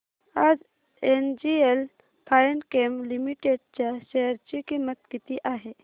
आज NGL Finechem Limited च्या share ची किंमत किती आहे